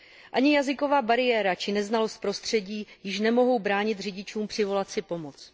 Ani jazyková bariéra či neznalost prostředí již nemohou bránit řidičům přivolat si pomoc.